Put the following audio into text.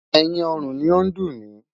Ẹ̀yìn ọrùn ni ó ń dùn mí.